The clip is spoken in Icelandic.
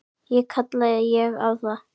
Ekki kalla ég það.